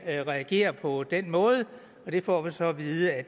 at reagere på den måde vi får så at vide at